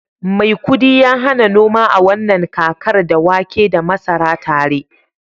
maikudi ya hada noma a wannan kakar, da wake da masara tare